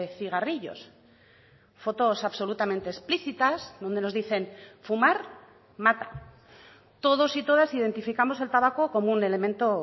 cigarrillos fotos absolutamente explicitas donde nos dicen fumar mata todos y todas identificamos el tabaco como un elemento